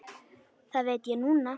Það veit ég núna.